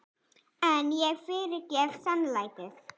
En ég fyrirgef seinlætið.